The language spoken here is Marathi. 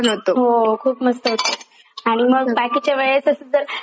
आणि मग अच्छा बाकीच्या वेळेतच जर आणि मूड वाईज गाणे ऐकते.